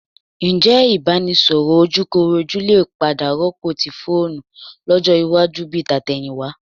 Ǹjẹ́ ìbánisọ̀rọ̀ ojúkorojú lè padà rọ́pò ti fóònù lọ́jọ́ iwájú bi tàtẹ̀yìnwá?